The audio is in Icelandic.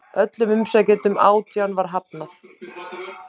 Öllum umsækjendunum átján var hafnað